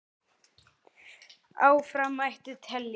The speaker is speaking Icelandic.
Áfram mætti telja.